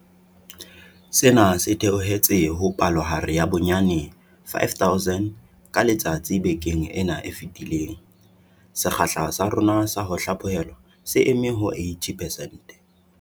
Sena se theohetse ho palohare ya bonyane 5 000 ka letsatsi bekeng ena e fetileng. Sekgahla sa rona sa ho hlaphohelwa se eme ho 80 percent.